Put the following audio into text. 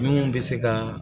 Minnu bɛ se ka